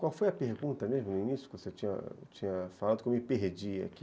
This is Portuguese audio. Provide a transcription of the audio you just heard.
Qual foi a pergunta mesmo, no início, que você tinha tinha falado que eu me perdi aqui